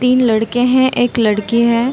तीन लड़के है एक लड़की है।